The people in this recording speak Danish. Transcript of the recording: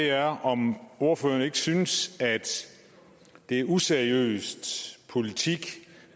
er om ordføreren ikke synes at det er useriøs politik